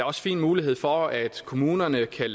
også fin mulighed for at kommunerne kan